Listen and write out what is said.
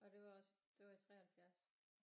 Og det var også det var i 73